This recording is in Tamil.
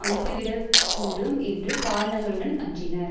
அனுப்பப்பட்டுவிட கூடும் என்று காரணங்களுடன் அஞ்சினர்